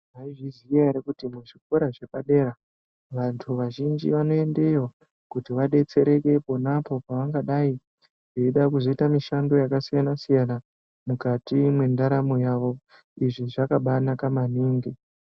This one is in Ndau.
Maizviziya ere kuti muzvikora zvepadera vantu vazhinji vanoendeyo kuti vadetsereke ponapo pavangadai veida kuzoita mishando yakasiyanasiyana mukati mwendaramo yavo. Izvi zvakambaanaka maningi.